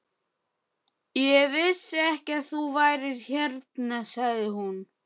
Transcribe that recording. Ég vissi ekki að þú værir hérna sagði hún.